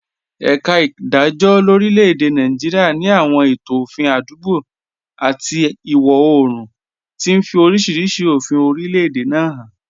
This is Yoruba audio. Ẹ̀ka ìdájọ́ lórílẹ̀-èdè Nàìjíríà ní àwọn ètò òfin àdúgbò àti ìwọ̀ oòrùn, tí ń fi oríṣiríṣi òfin orílẹ̀-èdè náà hàn.